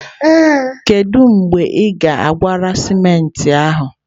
Kedu mgbe ị gwara simenti ahụ?